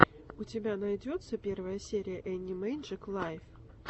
у тебя найдется первая серия энни мэджик лайв